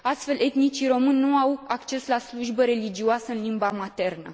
Astfel, etnicii români nu au acces la slujbele religioase în limba maternă.